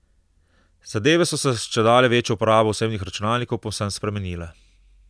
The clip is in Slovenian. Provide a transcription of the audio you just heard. Zadeve so se s čedalje večjo uporabo osebnih računalnikov povsem spremenile.